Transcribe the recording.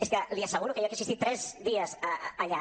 és que li asseguro que jo que he assistit tres dies allà